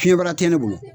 Fiɲɛbara tɛ ne bolo